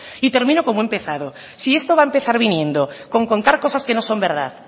y termino como he empezado si esto va a empezar viniendo con contar cosas que no son verdad